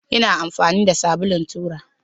Ina amfani da sabulun tura